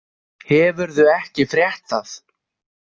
Hefurðu ekki frétt það?